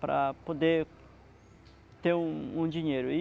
para poder ter um dinheiro. E